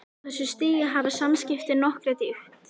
Á þessu stigi hafa samskiptin nokkra dýpt.